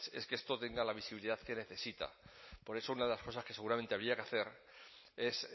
es que esto tenga la visibilidad que necesita por eso una de las cosas que seguramente habría que hacer es